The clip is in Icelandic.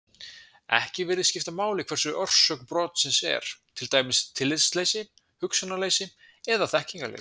Ekki virðist skipta máli hver orsök brotsins er, til dæmis tillitsleysi, hugsunarleysi eða þekkingarleysi.